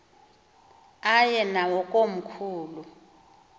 aye nawo komkhulu